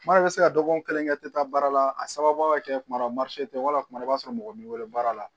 Tuma dɔ la i bɛ se ka dɔgɔkun kelen kɛ i tɛ taa baara la a sababu ka kɛ kuma dɔ marise tɛ wa i b'a sɔrɔ mɔgɔ b'i wele baara la